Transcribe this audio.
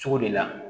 Cogo de la